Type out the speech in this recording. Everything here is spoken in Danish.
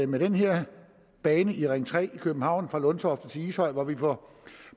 med den her bane i ring tre i københavn fra lundtofte til ishøj får